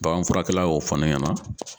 Baganfurakɛla y'o fɔ ne ɲɛna.